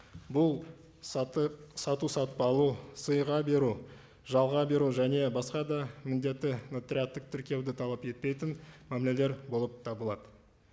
бұл сату сатып алу сыйға беру жалға беру және басқа да міндетті нотариаттық тіркеуді талап етпейтін мәмілелер болып табылады